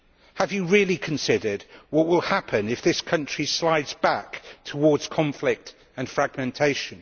Have you really considered what will happen if this country slides back towards conflict and fragmentation?